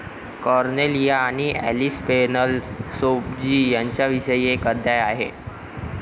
Cornelia आणि Alice Pennell Sorabji यांच्याविषयी एक अध्याय आहे.